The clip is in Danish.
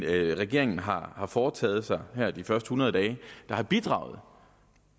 regeringen har har foretaget sig her de første hundrede dage der har bidraget